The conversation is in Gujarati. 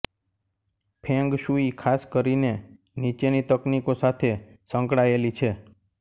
ફેંગ શુઇ ખાસ કરીને નીચેની તકનીકો સાથે સંકળાયેલી છે